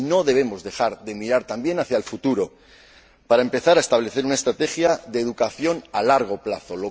Y no debemos dejar de mirar también hacia el futuro para empezar a establecer una estrategia de educación a largo plazo.